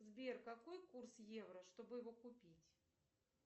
сбер какой курс евро чтобы его купить